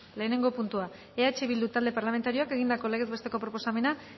lehenengo puntua eh bildu talde parlamentarioak egindako legez besteko proposamena